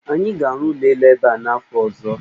Anyị ga-arụ ụlọ elu ebe a n'afọ ọzọ.